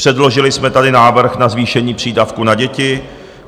Předložili jsme tady návrh na zvýšení přídavků na děti.